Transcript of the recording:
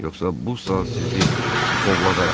Yoxsa bu saat sizi buxovladaram.